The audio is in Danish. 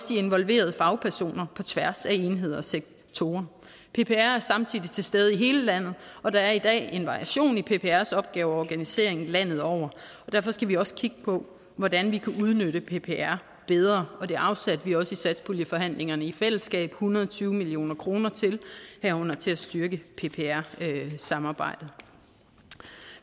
de involverede fagpersoner på tværs af enheder og sektorer ppr er samtidig til stede i hele landet og der er i dag en variation i pprs opgaver og organisering landet over derfor skal vi også kigge på hvordan vi kan udnytte ppr bedre og det afsatte vi også i satspuljeforhandlingerne i fællesskab en hundrede og tyve million kroner til herunder til at styrke ppr samarbejdet